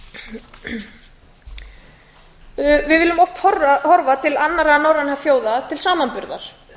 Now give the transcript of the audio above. við viljum oft horfa til annarra norrænna þjóða til samanburðar